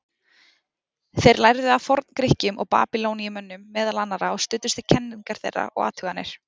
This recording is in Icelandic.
Þeir lærðu af Forngrikkjum og Babýloníumönnum, meðal annarra, og studdust við kenningar þeirra og athuganir.